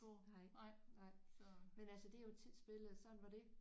Nej nej men altså det er jo tidsbilledet og sådan var det